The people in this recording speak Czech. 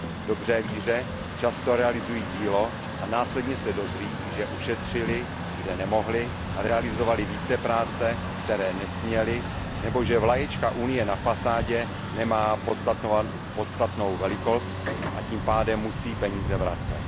V dobré víře často realizují dílo a následně se dozví, že ušetřili, kde nemohli, a realizovali práce, které nesměli, nebo že vlaječka Unie na fasádě nemá požadovanou velikost, a tím pádem musí peníze vracet.